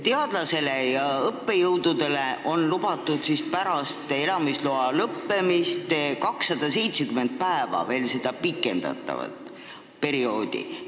Teadlastele ja õppejõududele on lubatud pärast elamisloa lõppemist 270 päevaks veel siin viibimist pikendada.